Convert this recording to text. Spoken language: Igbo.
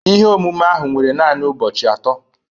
Ihe omume ahụ were naanị ụbọchị atọ